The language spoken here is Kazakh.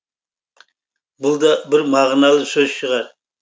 бұл да бір мағыналы сөз шығар